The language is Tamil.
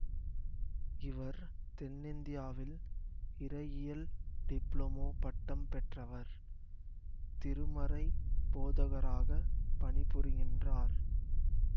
இவர் தென்இந்தியாவில் இறையியல் டிப்ளோமா பட்டம் பெற்றவர் திருமறை போதகராகப் பணிபுரிகின்றார்